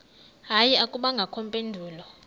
hayi akubangakho mpendulo